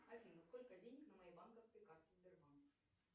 афина сколько денег на моей банковской карте сбербанк